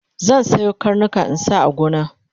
zan Sayo karnika in sa a gona